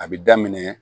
A bi daminɛ